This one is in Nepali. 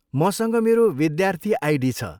मसँग मेरो विद्यार्थी आइडी छ।